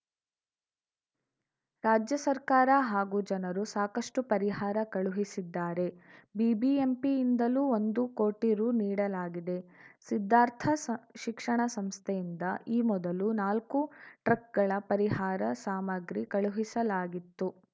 ರಾಜ್ಯ ಸರ್ಕಾರ ಹಾಗೂ ಜನರೂ ಸಾಕಷ್ಟುಪರಿಹಾರ ಕಳುಹಿಸಿದ್ದಾರೆ ಬಿಬಿಎಂಪಿಯಿಂದಲೂ ಒಂದು ಕೋಟಿ ರು ನೀಡಲಾಗಿದೆ ಸಿದ್ಧಾರ್ಥ ಶಿಕ್ಷಣ ಸಂಸ್ಥೆಯಿಂದ ಈ ಮೊದಲು ನಾಲ್ಕು ಟ್ರಕ್‌ಗಳ ಪರಿಹಾರ ಸಾಮಗ್ರಿ ಕಳುಹಿಸಲಾಗಿತ್ತು